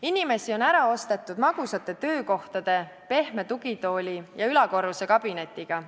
Inimesi on ära ostetud magusate töökohtade, pehme tugitooli ja ülakorruse kabinetiga.